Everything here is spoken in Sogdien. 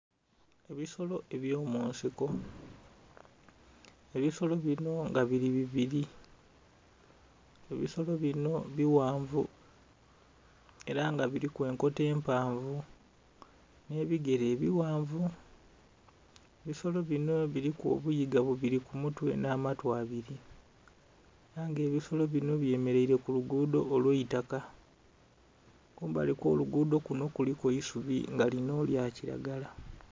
Ebisolo eby'omunsiko. Ebisolo binho nga bili bibili. Ebisolo binho bighanvu era nga biliku enkoto empanvu nh'ebigele ebighanvu. Ebisolo binho biliku obuyiga bubili ku mutwe nh'amatu abili ela nga ebisolo binho byemeleile ku luguudho olw'eitaka. Kumbali kw'oluguudho kunho kuliku eisubi nga linho lya kilagala.